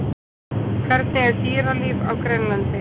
Hvernig er dýralíf á Grænlandi?